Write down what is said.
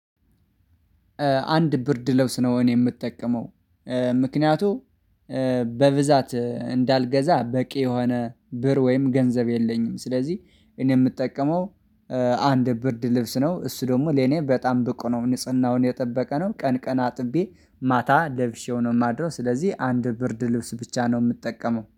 አንድ ብርድ ለውስ ነው እኔ የምጠቀመው ምክንያቱም በብዛት እንዳልገዛ በቂ የሆነ ብር ወይም ገንዘብ የለኝም። ስለዚህ እኔ የምጠቀመው አንድ ብርድ ልብስ ነው እሱ ደግሞ ለኔ በጣም ብቁ ነው ንጽህናውን የጠበቀ ነው። ቀን ቀን አጥቤ ማታ ለብሼው ነው የማድረው። ስለዚህ አንድ ብርድ ልብስ ብቻ ነው የምጠቀመው።